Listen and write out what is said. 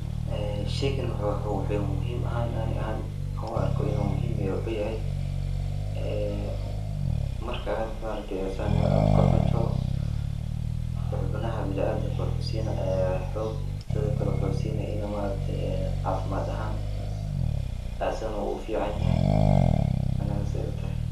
Sheygan wuxu muhiim ani ahaan an uarka wuxu yahay marka sidan kucunto wuxu sinaya xubnaha biniadanka ee xoog teda kale wuxu sinaya in cafiimad ahan asaga ufican yahay.